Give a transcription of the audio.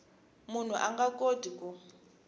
munhu a nga koti ku